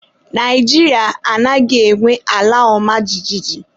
Naijiria anaghị enwe ala ọma jijiji.